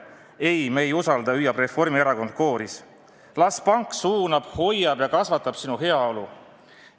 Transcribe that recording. "Ei, me ei usalda," hüüab Reformierakond kooris, "las pank suunab, hoiab ja kasvatab sinu heaolu.